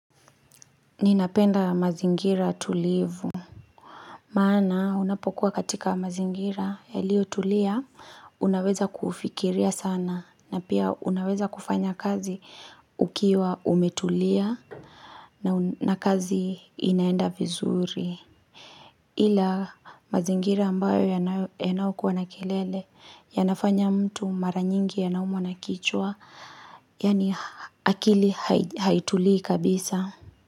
Ninapenda mazingira tulivu maana unapokuwa katika mazingira yalio tulia unaweza kufikiria sana na pia unaweza kufanya kazi ukiwa umetulia na kazi inaenda vizuri ila mazingira ambayo yanao kuwa na kelele yanafanya mtu mara nyingi anaumwa na kichwa yaani akili haituli kabisa.